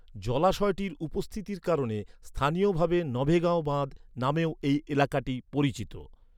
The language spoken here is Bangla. জলাশয়টির উপস্থিতির কারণে স্থানীয়ভাবে নভেগাঁও বাঁধ নামেও এই এলাকাটি পরিচিত।